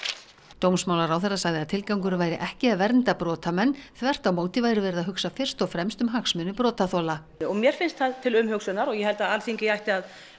dómsmálaráðherra sagði að tilgangurinn væri ekki að vernda brotamenn þvert á móti væri verið að hugsa fyrst og fremst um hagsmuni brotaþola mér finnst það til umhugsunar og ég held að Alþingi ætti